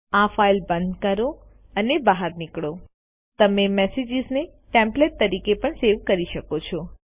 આ ફાઈલ બંધ કરો અને બહાર નીકળો તમે મેસેજીસ ને ટેમ્પલેટ તરીકે પણ સેવ કરી શકો છો